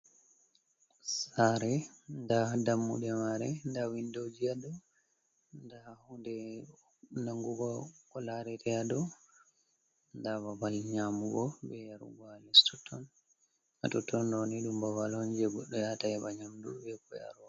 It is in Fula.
Sare nda dammuɗe mare, nda windoji ha dou, nda hunde nangugo ko larete ha dou, nda babal nyamugo be yarugo ha les totton. Ha totton ɗoni ɗum babal on je goɗɗo yahata heɓa nyamdu be ko yaroo.